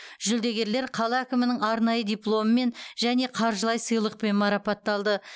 жүлдегерлер қала әкімінің арнайы дипломымен және қаржылай сыйлықпен марапатталды